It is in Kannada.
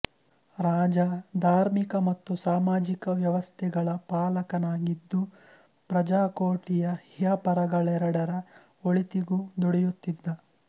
ರಾಜ ಧಾರ್ಮಿಕ ಮತ್ತು ಸಾಮಾಜಿಕ ವ್ಯವಸ್ಥೆಗಳ ಪಾಲಕನಾಗಿದ್ದು ಪ್ರಜಾಕೋಟಿಯ ಇಹಪರಗಳೆರಡರ ಒಳಿತಿಗೂ ದುಡಿಯುತ್ತಿದ್ದ